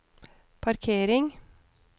parkering